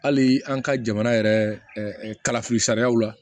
Hali an ka jamana yɛrɛ kalafili sariyaw la